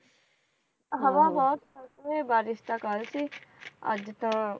ਹਵਾ ਬਹੁਤ ਆ ਬਾਰਿਸ਼ ਤਾਂ ਕਰਕੇ ਅੱਜ ਤਾਂ